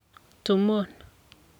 to mourn".